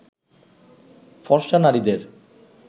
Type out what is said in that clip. ফর্সা নারীদের